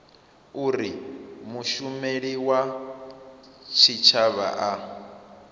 uri mushumeli wa tshitshavha a